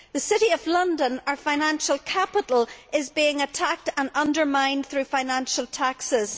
The City of London, our financial capital, is being attacked and undermined through financial taxes.